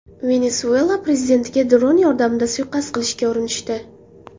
Venesuela prezidentiga dron yordamida suiqasd qilishga urinishdi.